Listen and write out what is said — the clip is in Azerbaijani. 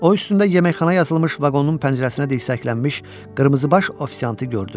O üstündə yeməkxana yazılmış vaqonun pəncərəsinə dirsəklənmiş qırmızıbaş ofisiantı gördü.